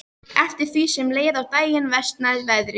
Eftir því sem leið á daginn versnaði veðrið.